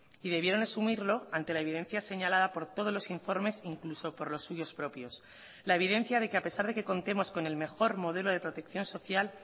y debieron asumirlo ante la evidencia señalada por todos los informes incluso por los suyos propios la evidencia de que a pesar de que contemos con el mejor modelo de protección social